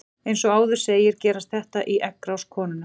Eins og áður segir gerist þetta í eggrás konunnar.